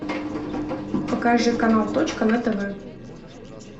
покажи канал точка на тв